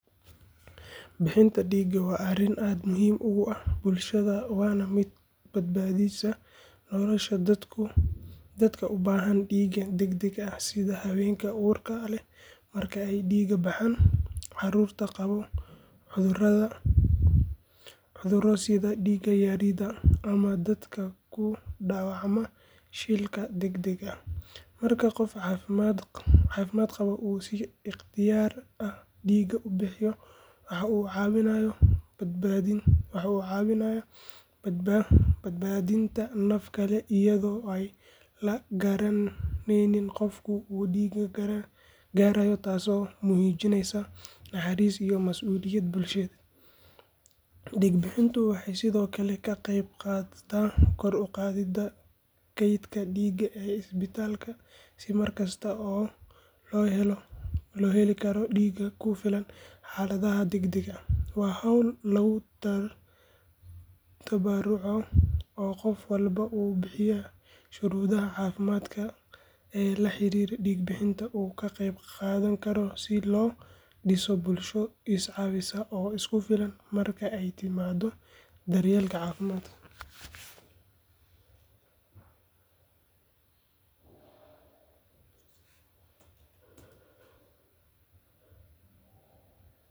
Bixinta dhiigga waa arrin aad muhiim ugu ah bulshada waana mid badbaadisa nolosha dadka u baahan dhiig degdeg ah sida haweenka uurka leh marka ay dhiig baxaan, carruurta qaba cudurro sida dhiig-yarida ama dadka ku dhaawacma shilalka degdegga ah. Marka qof caafimaad qaba uu si ikhtiyaari ah dhiig u bixiyo waxa uu caawinayaa badbaadinta naf kale iyadoo aan la garanayn qofka uu dhiiggu gaarayo taas oo muujinaysa naxariis iyo mas’uuliyad bulsheed. Dhiig-bixintu waxay sidoo kale ka qayb qaadataa kor u qaadidda kaydka dhiigga ee isbitaallada si markasta loo heli karo dhiig ku filan xaaladaha degdegga ah. Waa hawl lagu tabarucayo oo qof walba oo buuxiya shuruudaha caafimaad ee la xiriira dhiig-bixinta uu ka qayb qaadan karo si loo dhiso bulsho is caawisa oo isku filan marka ay timaaddo daryeelka caafimaadka.